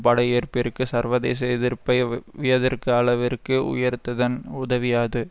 படையெடுப்பிற்கு சர்வதேச எதிர்ப்பை வியத்தர்கு அளவிற்கு உயர்த்ததன் உதவியாது